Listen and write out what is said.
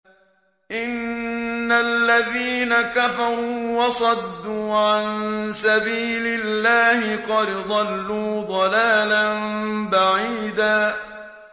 إِنَّ الَّذِينَ كَفَرُوا وَصَدُّوا عَن سَبِيلِ اللَّهِ قَدْ ضَلُّوا ضَلَالًا بَعِيدًا